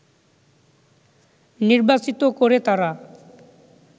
নির্বাচিত করে তারা